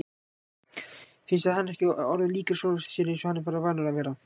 Finnst þér hann ekki orðinn líkur sjálfum sér eins og hann var vanur að vera?